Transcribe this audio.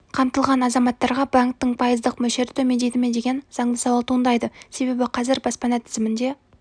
қамтылған азаматтарға банктің пайыздық мөлшері төмендейді ме деген заңды сауал туындайды себебі қазір баспана тізімінде